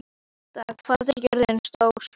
Britta, hvað er jörðin stór?